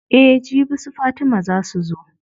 Eh jibi su fatima zaa su zo.